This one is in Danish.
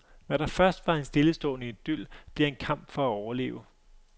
Hvad der først var en stillestående idyl, bliver en kamp for at overleve.